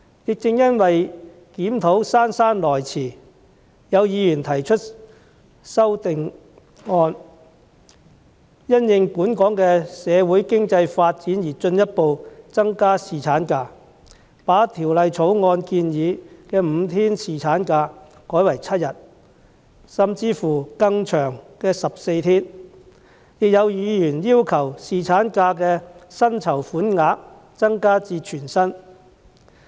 亦正因為檢討姍姍來遲，有議員提出修正案，要求因應本港的社會經濟發展進一步增加侍產假，把《條例草案》建議的5天侍產假改為7天，甚至是更長的14天，亦有議員要求將侍產假的薪酬款額增至全薪。